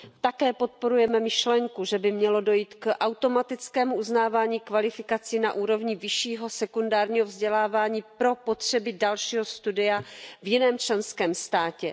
Také podporujeme myšlenku, že by mělo dojít k automatickému uznávání kvalifikací na úrovni vyššího sekundárního vzdělávání pro potřeby dalšího studia v jiném členském státě.